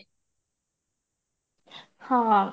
ହଁ